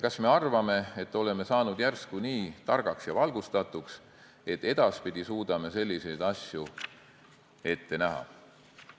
Kas me oleme saanud järsku nii targaks ja valgustatuks, et edaspidi suudame selliseid asju ette näha?